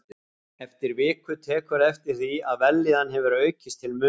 Eftir viku tekurðu eftir því, að vellíðan hefur aukist til muna.